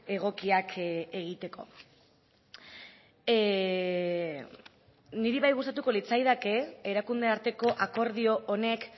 egokiak egiteko niri bai gustatuko litzaidake erakunde arteko akordio honek